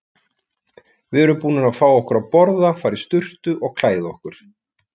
Við erum búnar að fá okkur að borða, fara í sturtu og klæða okkur.